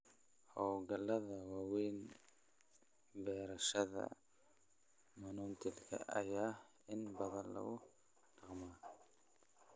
Hawlgallada waaweyn, beerashada monoculture ayaa inta badan lagu dhaqmaa.